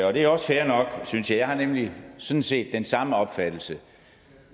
og det er også fair nok synes jeg jeg har nemlig sådan set den samme opfattelse